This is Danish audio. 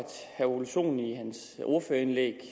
herre ole sohn i sit ordførerindlæg